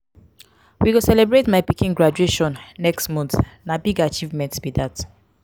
we go celebrate my pikin graduation next month na big achievement be dat.